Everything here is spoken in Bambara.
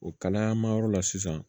O kalayanmayɔrɔ la sisan